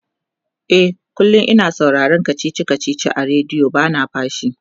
e kullum. ina sauraron kachichi a radio bana fashi